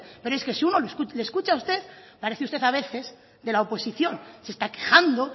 pero es que si uno le escucha a usted parece usted a veces de la oposición se está quejando